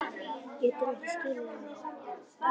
Geturðu ekki skilið það?